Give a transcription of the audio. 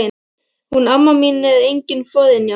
Hún amma mín er engin forynja.